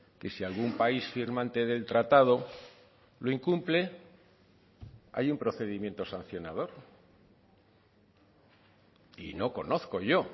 que si algún país firmante del tratado lo incumple hay un procedimiento sancionador y no conozco yo